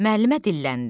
Müəllimə dilləndi.